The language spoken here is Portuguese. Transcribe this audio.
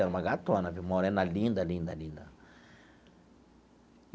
É uma gatona viu, morena linda, linda, linda.